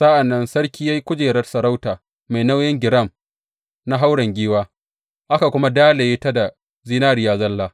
Sa’an nan sarki ya yi kujerar sarauta mai nauyin giram na hauren giwa, aka kuma dalaye ta da zinariya zalla.